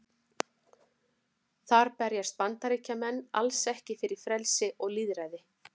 Þar berjast Bandaríkjamenn alls ekki fyrir frelsi og lýðræði.